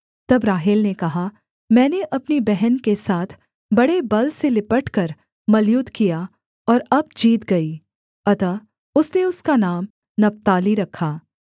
तब राहेल ने कहा मैंने अपनी बहन के साथ बड़े बल से लिपटकर मल्लयुद्ध किया और अब जीत गई अतः उसने उसका नाम नप्ताली रखा